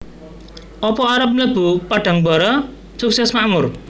Opo arep mlebu Padangbara Sukses Makmur